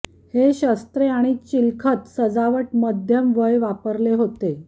हे शस्त्रे आणि चिलखत सजावट मध्यम वयं वापरले होते